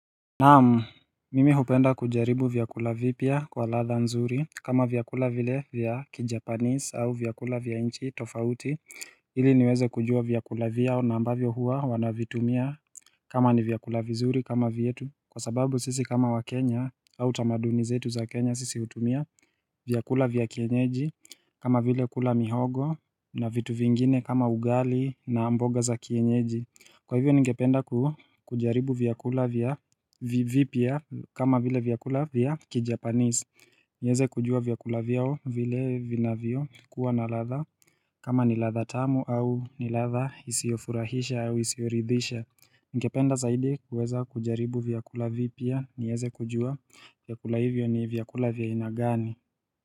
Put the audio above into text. Naamu, mimi hupenda kujaribu vyakula vipia kwa latha nzuri kama vyakula vile vya kijapanis au vyakula vya inchi tofauti Hili niweze kujua vyakula vya na ambavyo huwa wanavitumia kama ni vyakula vizuri kama vyetu Kwa sababu sisi kama wakenya au tamaduni zetu za Kenya sisi utumia vyakula vya kienyeji kama vile kula mihogo na vitu vingine kama ugali na mboga za kienyeji Kwa hivyo ningependa kujaribu vyakula vya vipia kama vile vyakula vya ki Japanese nieze kujua vyakula vyao vile vinavyo kuwa na latha kama ni latha tamu au ni latha isiofurahisha au isioridhisha ningependa zaidi kujaribu vyakula vipia nieze kujua vyakula hivyo ni vyakula vya inagani.